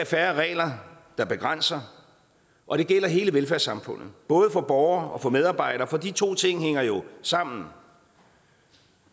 færre regler der begrænser og det gælder hele velfærdssamfundet både for borgere og for medarbejdere for de to ting hænger jo sammen